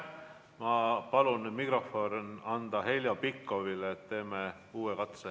Ma palun nüüd mikrofoni anda Heljo Pikhofile, teeme uue katse.